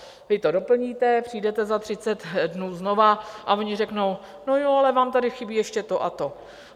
Vy to doplníte, přijdete za 30 dnů znovu a oni řeknou, no jo, ale vám tady chybí ještě to a to.